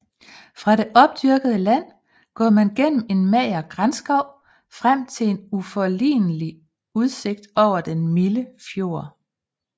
Fra det opdyrkede land går man gennem en mager granskov frem til en uforlignelig udsigt over den milde fjord